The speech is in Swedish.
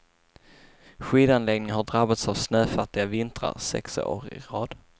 Skidanläggningen har drabbats av snöfattiga vintrar sex år i rad.